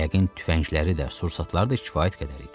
Yəqin tüfəngləri də, sursatlar da kifayət qədər idi.